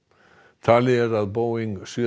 talið er að Boeing sjö